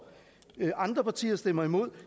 andre partier stemmer imod